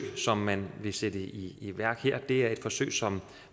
som man vil sætte i i værk her er det forsøg som